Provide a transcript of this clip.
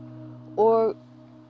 og